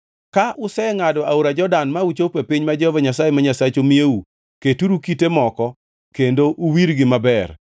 Ka usengʼado aora Jordan ma uchopo e piny ma Jehova Nyasaye ma Nyasachu miyou, keturu kite moko kendo uwirgi maber.